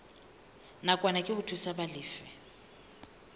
nakwana ke ho thusa balefi